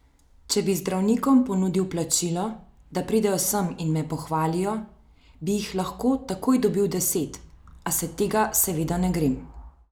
Če bi zdravnikom ponudil plačilo, da pridejo sem in me pohvalijo, bi jih lahko takoj dobil deset, a se tega seveda ne grem.